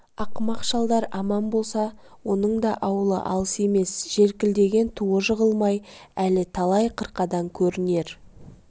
ақымақ шалдар аман болса оның да ауылы алыс емес желкілдеген туы жығылмай әлі талай қырқадан көрінер